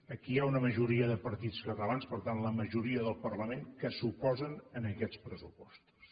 aquí hi ha una majoria de partits catalans per tant la majoria del parlament que s’oposa en aquests pressupostos